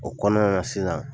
O kɔnɔna na sisan.